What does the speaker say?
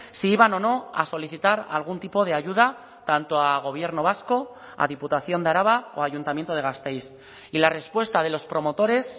si iban o no a solicitar algún tipo de ayuda tanto a gobierno vasco a diputación de araba o a ayuntamiento de gasteiz y la respuesta de los promotores